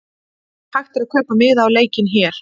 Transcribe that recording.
Hægt er að kaupa miða á leikinn hér.